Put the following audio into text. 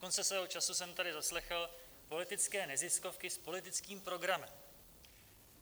Dokonce svého času jsem tady zaslechl politické neziskovky s politickým programem.